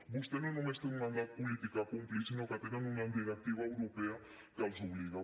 vostè no només té un mandat polític a complir sinó que tenen una directiva europea que els hi obliga